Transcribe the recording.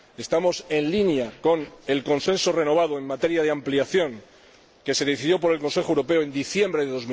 clara. Estamos en línea con el consenso renovado en materia de ampliación que decidió el Consejo Europeo en diciembre